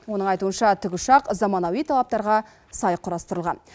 оның айтуынша тікұшақ заманауи талаптарға сай құрастырылған